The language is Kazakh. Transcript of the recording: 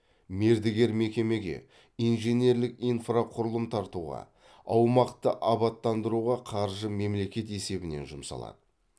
мердігер мекемеге инженерлік инфрақұрылым тартуға аумақты абаттандыруға қаржы мемлекет есебінен жұмсалады